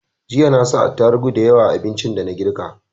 Jiya na sa atarugu dayawa a abincin da na girka